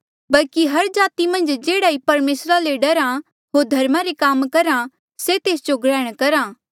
बल्कि हर जाति मन्झ जेह्ड़ा भी परमेसरा ले डरहा होर धर्मा रे काम करहा से तेस जो ग्रहण करा